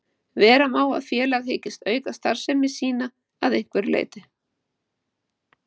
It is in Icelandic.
Vera má að félag hyggist auka starfsemi sína að einhverju leyti.